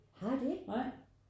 Har de ikke?